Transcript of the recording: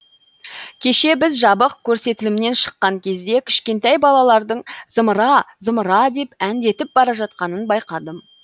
кеше біз жабық көрсетілімнен шыққан кезде кішкентай балалардың зымыра зымыра деп әндетіп бара жатқанын байқадым